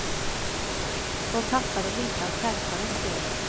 De tappade lite av skärpan i spelet.